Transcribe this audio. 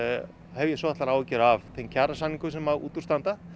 hef ég svolitlar áhyggjur af þeim kjarasamningum sem út úr standa